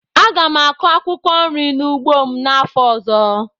Aga m akụ akwụkwọ nri n'ugbo m n'afọ ọzọ